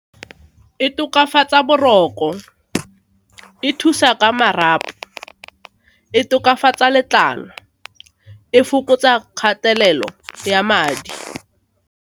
E tokafatsa boroko, e thusa ka marapo, e tokafatsa letlalo, e fokotsa kgatelelo ya madi.